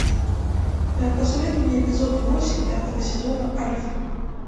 посоветуй мне эпизод восемь пятого сезона альф